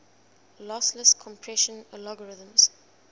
lossless compression algorithms